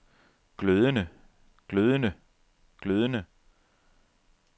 glødende glødende glødende